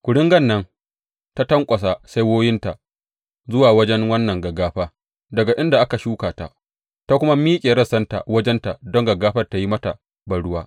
Kuringan nan ta tanƙwasa saiwoyinta zuwa wajen wannan gaggafa daga inda aka shuka ta, ta kuma miƙe rassanta wajenta don gaggafar ta yi mata banruwa.